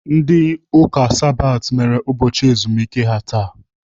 Ndị Ụka Sabat mere ụbọchị ezumike ha taa.